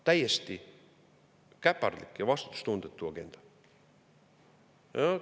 Täiesti käpardlik ja vastutustundetu agenda!